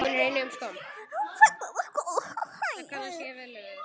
Hún fellur á gólfið.